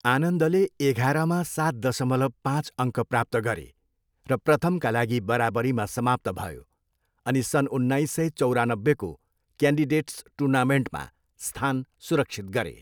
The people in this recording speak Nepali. आनन्दले एघारमा सात दसमलव पाँच अङ्क प्राप्त गरे र प्रथमका लागि बराबरीमा समाप्त भयो अनि सन्न उन्नाइस सय चौरानब्बेको क्यान्डिडेट्स टुर्नामेन्टमा स्थान सुरक्षित गरे।